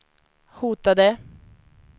hotade